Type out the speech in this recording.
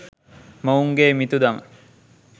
මොවුන්ගේ මිතුදම